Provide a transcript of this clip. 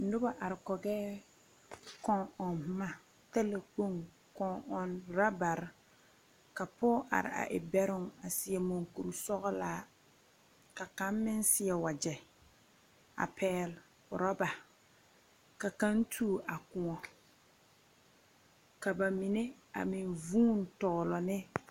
Noba are kɔgɛɛ, kɔŋ-ɔŋ boma talakpoŋ kɔŋ-ɔŋ rabare ka pɔge are a e bɛroŋ a seɛ muŋkur-sɔglaa, ka kaŋ meŋ seɛ wagyɛ a pɛɛl orɔba, ka kaŋ tuo a kõɔ. Ka ka mine a meŋ vuun tɔglɔ ne.